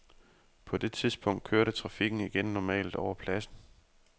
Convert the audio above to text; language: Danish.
På det tidspunkt kørte trafikken igen normalt over pladsen.